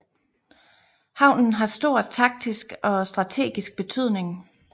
Havnen har stor taktisk og strategisk betydning